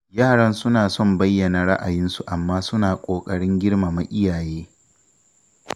Yaran suna son bayyana ra'ayinsu amma suna ƙoƙarin girmama iyaye.